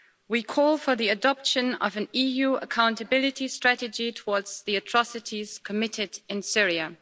We call for the adoption of an EU accountability strategy towards the atrocities committed in Syria.